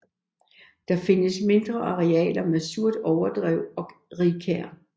Der findes mindre arealer med surt overdrev og rigkær